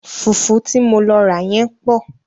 Fùfú ti mo lọ rà yẹ́n pọ̀.